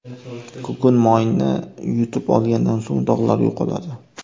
Kukun moyni yutib olgandan so‘ng dog‘lar yo‘qoladi.